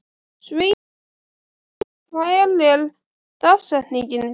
Sveinsína, hver er dagsetningin í dag?